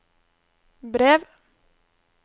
brev